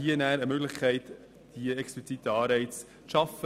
Hier bestünde eine Möglichkeit, explizite Anreize zu schaffen.